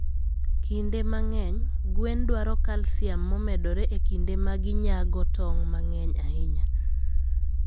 Kinde mang'eny, gwen dwaro calcium momedore e kinde ma ginyago tong' mang'eny ahinya.